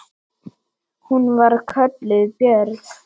Hún var kölluð Björg.